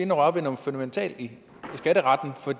at røre ved noget fundamentalt i skatteretten for